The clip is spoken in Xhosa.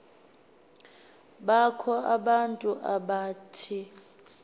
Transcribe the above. bakho abantu abathi